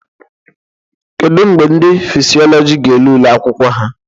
Kedu mgbe ndị Fisiọlọjị ga ele ule akwụkwọ ha?